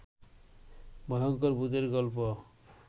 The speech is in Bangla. ভয়ংকর ভূতের গল্প